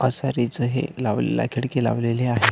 हे लावलेलं खिडकी लावलेली आहे.